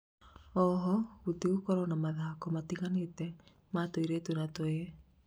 oho, gũtigũkorwo na mathako matiganĩte ma tũirĩtu na tũhĩĩ